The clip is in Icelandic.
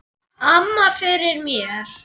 Amma fyrir mér.